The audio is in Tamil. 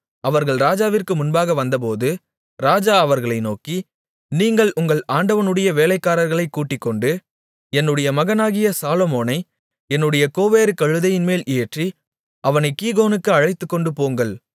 அவர்கள் ராஜாவிற்கு முன்பாக வந்தபோது ராஜா அவர்களை நோக்கி நீங்கள் உங்கள் ஆண்டவனுடைய வேலைக்காரர்களைக் கூட்டிக்கொண்டு என்னுடைய மகனாகிய சாலொமோனை என்னுடைய கோவேறுகழுதையின்மேல் ஏற்றி அவனைக் கீகோனுக்கு அழைத்துக்கொண்டுபோங்கள்